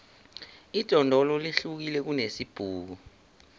idondolo lihlukile kunesibhuku